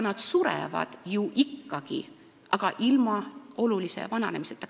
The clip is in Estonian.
Nad surevad ju ikkagi, aga ilma olulise vananemiseta.